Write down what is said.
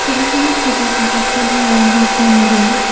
ছবিখনত থকা আকাশখনৰ ৰং হৈছে নীলা।